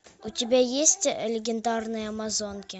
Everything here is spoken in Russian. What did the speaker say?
у тебя есть легендарные амазонки